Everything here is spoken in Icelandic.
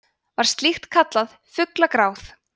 var slíkt veður kallað fuglagráð